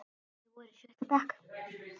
Þeir voru í sjötta bekk.